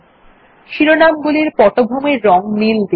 শিরনামগুলির পটভূমির রং নীল দিন